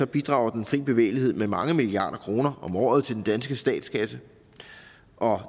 bidrager den frie bevægelighed med mange milliarder kroner om året til den danske statskasse